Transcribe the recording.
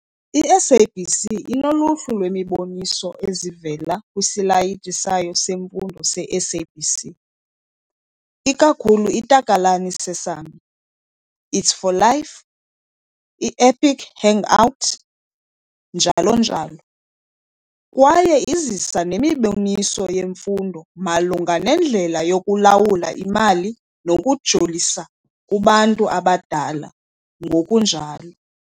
I-SABC 2 inoluhlu lweemiboniso ezivela kwisilayiti sayo seMfundo se-SABC Education, ikakhulu iTakalani Sesame, It's For Life, i-Epic Hangout, njl.njl. Kwaye izisa nemiboniso yemfundo malunga nendlela yokulawula imali nokujolisa kubantu abadala, ngokunjalo